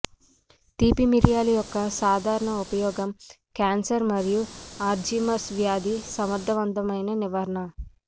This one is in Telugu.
తీపి మిరియాలు యొక్క సాధారణ ఉపయోగం క్యాన్సర్ మరియు అల్జీమర్స్ వ్యాధి సమర్థవంతమైన నివారణ